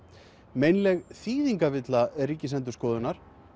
meinleg þýðingarvilla Ríkisendurskoðunar